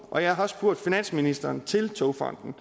og jeg har også spurgt finansministeren til togfonden